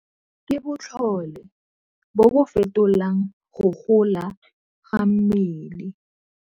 Ke botlhole bo bo fetolang go gola ga mmele.